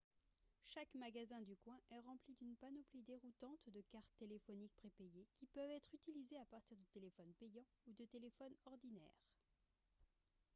chaque magasin du coin est rempli d'une panoplie déroutante de cartes téléphoniques prépayées qui peuvent être utilisées à partir de téléphones payants ou de téléphones ordinaires